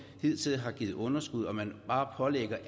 hidtil har givet underskud og når man bare pålægger